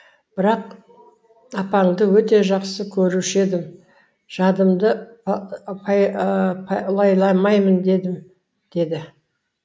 бірақ апаңды өте жақсы көруші едім жадымды лайламайын дедім деді